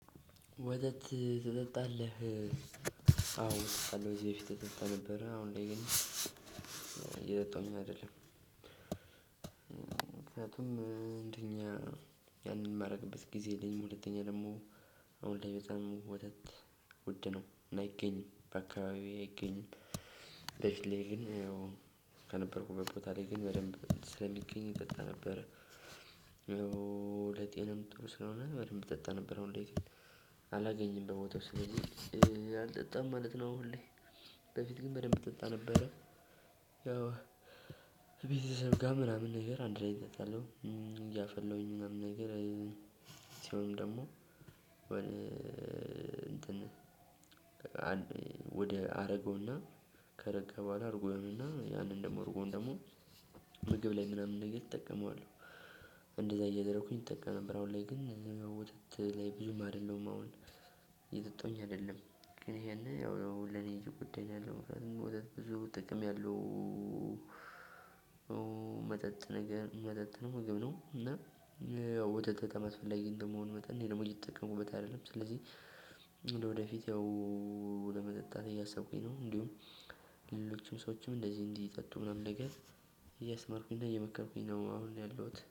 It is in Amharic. ወተት ትጠጣለህ አዎ እጠጣለሁ ከዚህ በፊት ትጠጣ ነበረ አሁን ላይ ግን እየጠጣሁኝ አይደለም። ምክንያቱም እንደኛ ያንን የማደርግበት ጊዜ የለኝም። ሁለተኛ ደግሞ አሁን ላይ በጣም ውድ ነው አይገኝም በአካባቢዬ አይገኝም። በፊትላይ ግን ከነበርኩበት ቦታ ላይ ግን በደንብ ስለሚገኝ እጠጣ ነበር። ለጤናም ጥሩ ስለሆነ በደንብ እጠጣ ነበር። አሁን ላይ ግን አላገኝም በቦታው ስለዚህ አልጠጣም ማለት ነው። ሁሌ በፊት ግን በደንብ ጠጣ ነበረ። ያው ቤተሰብ ጋር ምናምን ነገር አንድ ላይ እንጠጣለን እያፈለሁኝ ምናምን ነገር። ሲሆንም ደግሞ አረጋው እና ከረጋ በኋላ እርጎውን እና ያንን ደግሞ አርጎውን ደግሞ ምግብ ላይ ምናምን ነገር እጠቀመዋለሁ። እንደዛ እያደረኩኝ እጠቀም ነበር። አሁን ላይ ግን ወተት ላይ ብዙም አይደለሁም። እየጠጣሁ አይደለም ግን ይሄ ያው ለኔ እየጎዳኝያለው ወተት ብዙ ጥቅም ያሉው። መጠጥም ምግብም ነው እና ወተት በጣም አስፈለጊ እንደመሆኑ መጠን እኔ ደግሞ እየተጠቀምኩበት አይደለም። ስለዚህ ለወደፊት ያው ለመጠጣት እያሰብኩኝ ነው። እንዲሁም ሌሎችም ሰዎችም እንደዚህ እንዲጠጡ ምናምን ነገር እያስተማርኩኝ እና እየመከርኩኝ ነው። አሁን ያለሁት